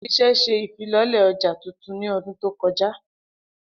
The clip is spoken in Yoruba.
Ile-iṣẹ ṣe ifilọlẹ ọja tuntun ni ọdun to kọja.